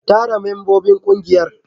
Tara membobin kungiyar.